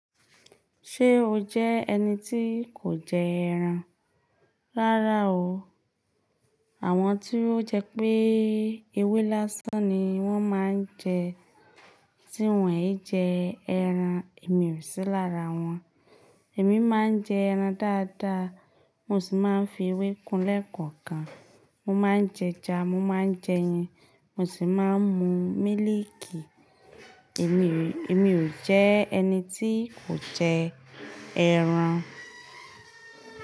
Ṣé o jẹ́ ẹni tí kò jẹ ẹran? Rárá o. Àwọn tí ó jẹ́ pé ewé lásán ni wọ́n máa ń jẹ tí wọ́n e jẹ ẹran, èmi ò sí lára wọn. Èmi máa ń jẹ ẹran dáadáa, mo sì máa ń fi ewé kún lekọ̀ọ̀kan. Mo máa ń jẹja, mo máa ń jẹ ẹyin, mo sì máa ń mu mílìkì. Èmi, èmi ò jẹ́ ẹni tí kò jẹ ẹran.